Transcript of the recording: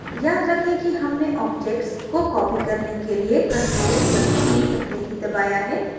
याद रखें कि हमने object को copy करने के लिए ctrl + c पहले ही दबाया है